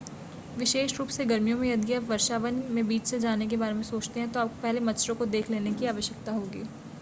विशेष रूप से गर्मियों में यदि आप वर्षावन के बीच से जाने के बारे में सोचते है, तो आपको पहले मच्छरों को देख लेने की आवश्यकता होगी ।